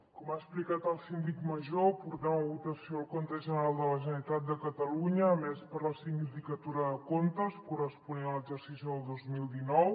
com ha explicat el síndic major portem a votació el compte general de la generalitat de catalunya emès per la sindicatura de comptes corresponent a l’exercici del dos mil dinou